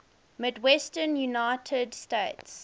midwestern united states